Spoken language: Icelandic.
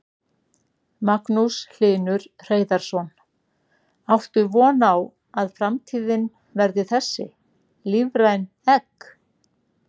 Magnús Hlynur Hreiðarsson: Áttu von á að framtíðin verði þessi, lífræn egg?